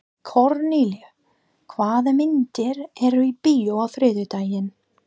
Kornelía, hvaða myndir eru í bíó á þriðjudaginn?